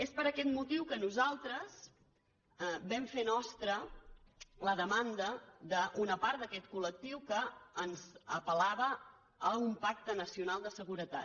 és per aquest motiu que nosaltres vam fer nostra la demanda d’una part d’aquest col·lectiu que ens apel·lava a un pacte nacional de seguretat